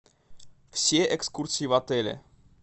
все экскурсии в отеле